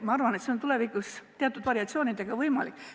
Ma arvan, et tulevikus on see jälle teatud variatsioonidega võimalik.